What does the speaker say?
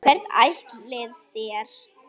Hvert ætlið þér?